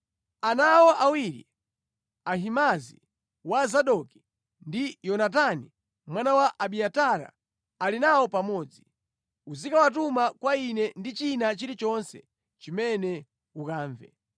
Ana awo awiri, Ahimaazi wa Zadoki, ndi Yonatani mwana wa Abiatara ali nawo pamodzi, uzikawatuma kwa ine ndi china chilichonse chimene ukamve.”